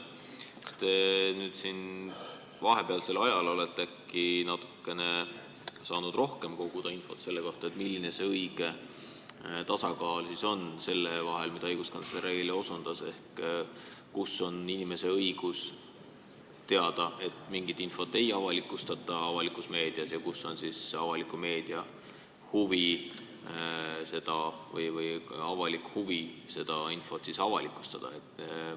Kas te vahepealsel ajal olete äkki saanud koguda natukene rohkem infot selle kohta, milline siis on see õige tasakaal nende kahe asja vahel, millele õiguskantsler eile osutas: inimese õigus teada, et mingit infot ei avalikustata avalikus meedias, ja avaliku meedia huvi või avalik huvi seda infot avalikustada?